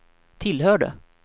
tillhörde